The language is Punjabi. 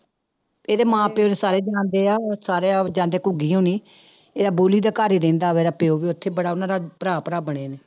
ਇਹਦੇ ਮਾਂ ਪਿਓ ਨੂੰ ਸਾਰੇ ਜਾਣਦੇ ਆ ਸਾਰੇ ਜਾਂਦੇ ਘੁੱਗੀ ਹੋਣੀ, ਇਹਦੇ ਬੋੋਲੀ ਦੇ ਘਰ ਹੀ ਰਹਿੰਦਾ ਵਾ ਇਹਦਾ ਪਿਓ ਵੀ ਉੱਥੇ ਬੜਾ ਉਹਨਾਂ ਦਾ ਭਰਾ ਭਰਾ ਬਣੇ ਨੇ।